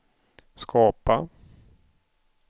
skapa